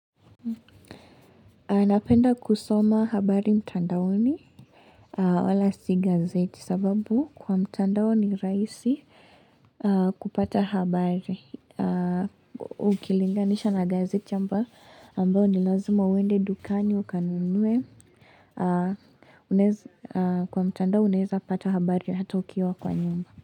Napenda kusoma habari mtandaoni aah wala si gazeti sababu kwa mtandao ni rahisi kupata habari Ukilinganisha na gazeti ambao nilazima uwende dukani ukanunue Kwa mtandao unaeza pata habari hata ukiwa kwa nyumba.